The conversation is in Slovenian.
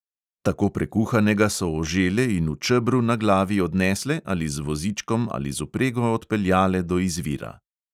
Tako prekuhanega so ožele in v čebru na glavi odnesle ali z vozičkom ali z vprego odpeljale do izvira.